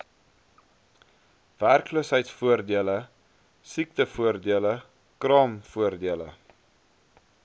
werkloosheidvoordele siektevoordele kraamvoordele